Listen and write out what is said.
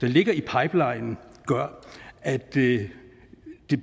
ligger i pipelinen gør at det